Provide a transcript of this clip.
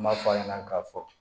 N b'a fɔ a ɲɛna k'a fɔ